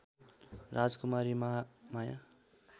Rajkumari Mahamaya